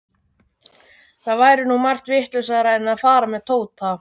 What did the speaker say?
Það væri nú margt vitlausara en að fara með Tóta.